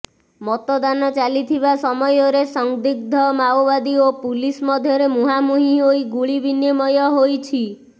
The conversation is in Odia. ମତଦାନ ଚାଲିଥିବା ସମୟରେ ସଂଦିଗ୍ଧ ମାଓବାଦୀ ଓ ପୁଲିସ୍ ମଧ୍ୟରେ ମୁହାଁମୁହିଁ ହୋଇ ଗୁଳି ବିନିମୟ ହୋଇଛି